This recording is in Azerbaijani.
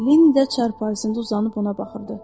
Leni də çarpayısında uzanıb ona baxırdı.